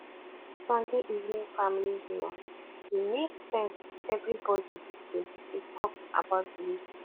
sunday evening family dinner dey make sense everybody dey dey talk about the week